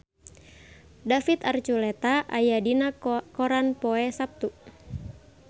David Archuletta aya dina koran poe Saptu